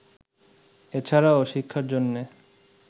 এছাড়াও শিক্ষার জন্যে